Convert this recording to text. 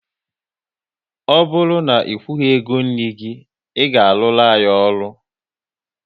Ọ bụrụ na ị kwughi ego nri gị, ị ga aruru anyị ọrụ!